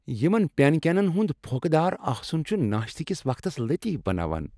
یمن پینکیکن ہنٛد پھۄکہ دار آسُن چھ ناشتہ کس وقتس لطیف بناوان۔